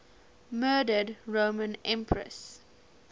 murdered roman empresses